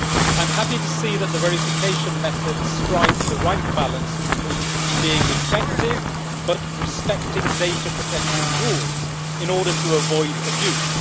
I am happy to see that the verification methods strike the right balance between being effective but respecting data protection rules in order to avoid abuse.